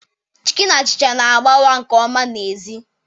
Chicken achịcha na-agbawa nke ọma n'èzí.